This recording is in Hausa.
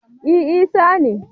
e Isa ne